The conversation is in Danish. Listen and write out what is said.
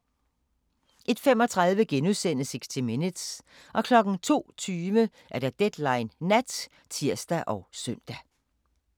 01:35: 60 Minutes * 02:20: Deadline Nat (tir og søn)